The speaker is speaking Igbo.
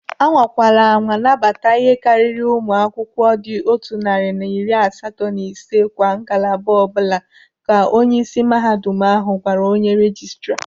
"Anwakwala anwa nabata ihe karịrị ụmụ akwụkwọ dị otu narị na iri asatọ na ise kwa ngalaba ọbụla", ka onyeisi mahadum ahụ gwara onye rejistra.